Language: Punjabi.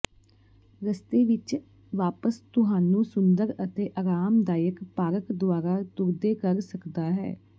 ਰਸਤੇ ਵਿੱਚ ਵਾਪਸ ਤੁਹਾਨੂੰ ਸੁੰਦਰ ਅਤੇ ਆਰਾਮਦਾਇਕ ਪਾਰਕ ਦੁਆਰਾ ਤੁਰਦੇ ਕਰ ਸਕਦਾ ਹੈ